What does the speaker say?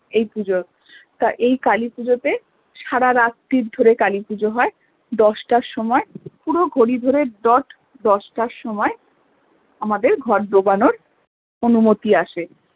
এই পুজোর তা এই কালী পুজোতে সারা রাত্রি ধরে কালী পুজো হয় দশটার সময়ে পুরো ঘড়ি ধরে dot দশটার সময়ে আমাদের ঘট ডোবানোর অনুমতি আসে